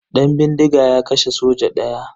Dan bindiga ya kashe soja daya.